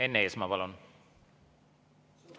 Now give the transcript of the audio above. Enn Eesmaa, palun!